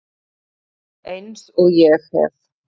Eins og ég hef